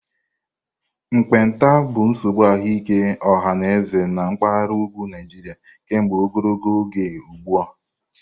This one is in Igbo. Mkpenta bụ nsogbu ahụike ọha na eze na mpaghara ugwu Nigeria kemgbe ogologo oge ugbu a.